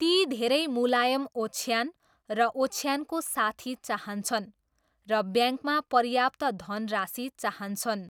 ती धेरै मुलायम ओछ्यान र ओछ्यानको साथी चाहन्छन् र ब्याङ्कमा पर्याप्त धनराशी चाहन्छन्।